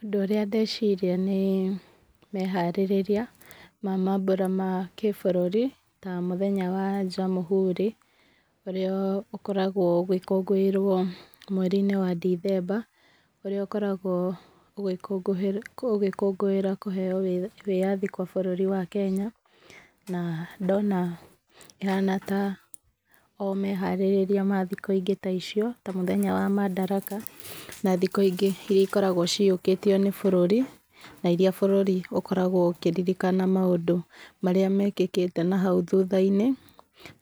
Ũndũ ũrĩa ndeciria nĩ, meharĩrĩria ma mambũra ma kĩbũrũri, ta mũthenya wa Jamuhuri, ũrĩa ũkoragwo ũgĩkũngũĩrwo mweri-inĩ wa Ndithemba, ũrĩa ũkoragwo ũgĩkũngũĩra kũheyo wĩyathi kwa bũrũri wa Kenya, na ndona ĩhana o ta me harĩrĩria mathikũ ingĩ ta icio, ta mũthenya wa Madaraka, na thikũ ingĩ iria ikoragwo ciyũkĩtio nĩ bũrũri, na iria bũrũri ũkoragwo ũkĩririkana maũndũ marĩa mekĩkĩte na hau thutha-inĩ,